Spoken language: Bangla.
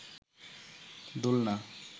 দোলনা